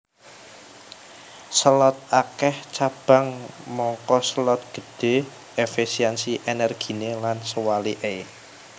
Selot akèh cabang mangka selot gedhé efisiensi ènèrginé lan sewaliké